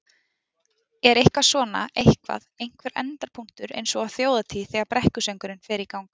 Er eitthvað svona, eitthvað, einhver endapunktur eins og á Þjóðhátíð þegar brekkusöngurinn fer í gang?